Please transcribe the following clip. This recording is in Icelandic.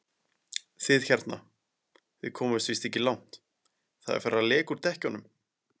Þið hérna. þið komist víst ekki langt. það er farið að leka úr dekkjunum!